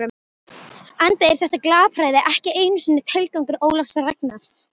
Enda er þetta glapræði ekki einu sinni tilgangur Ólafs Ragnars.